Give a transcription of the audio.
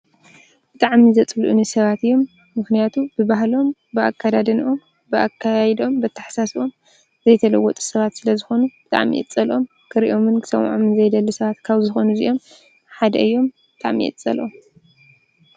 ብጣዕሚ ዘጽሉእኒ ሰባት እዮም፤ ምክንያቱ ብባህሎም ፣ብኣከዳድንኦም፣ ብኣከያይድኦም ፣ብኣተሓሳስብኦም ዘይተለወጡ ሰባት ስለዝኮኑ ብጣዕሚ እየ ዝጸልኦም ክርእዮምን ክሰምዖምን ዘይደሊ ሰባት ካብ ዝኮኑ እዚኦም ሓደ እዮም ብጣዕሚ እየ ዝጸልኦም።